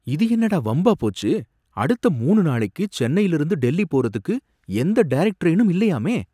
இது என்னடா வம்பா போச்சு! அடுத்த மூணு நாளைக்கு சென்னையில இருந்து டெல்லி போறதுக்கு எந்த டைரக்ட் ட்ரெயினும் இல்லையாமே!